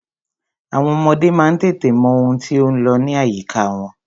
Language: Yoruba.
Àwọn ọmọdé má ń tètè mọ ohun tí ó ń lọ ní àyíká wọn.